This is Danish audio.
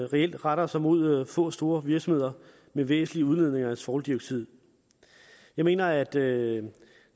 reelt retter sig mod få store virksomheder med væsentlige udledninger af svovldioxid jeg mener at det